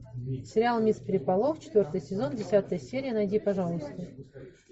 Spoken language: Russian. сериал мисс переполох четвертый сезон десятая серия найди пожалуйста